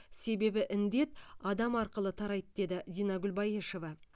себебі індет адам арқылы тарайды деді динагүл баешева